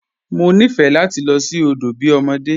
Mọ nifẹ́ lati lọ sí odo bí ọmọdé.